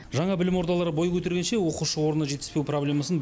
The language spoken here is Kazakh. жаңа білім ордалары бой көтергенше оқушы орны жетіспеу проблемасын